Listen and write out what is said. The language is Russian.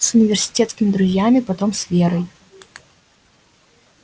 с университетскими друзьями потом с верой